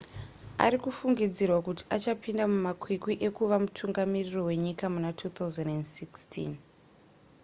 arikufungidzirwa kuti achapinda mumakwikwi ekuva mutungamiri wenyika muna 2016